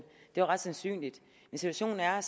jo ret sandsynligt men situationen er